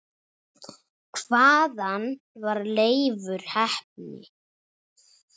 Hvaðan var Leifur heppni?